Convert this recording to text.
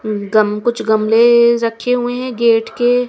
गम कुछ गमले रखे हुए हैं गेट के--